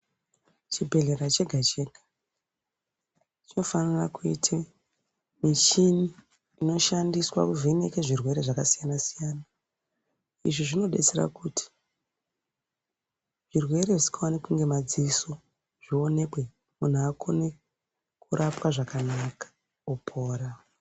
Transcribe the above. Chibhedhlera chega chega chinofanire kuita michini inovheneka zvirwere zvakasiyana siyana. Izvi zvinodetsera kuti zvirwere zvisingaoneki ngemadziso zvionekwe munhu aone kurapwa zvakanaka opora.